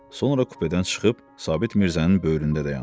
Sonra kupedən çıxıb Sabit Mirzənin böyründə dayandı.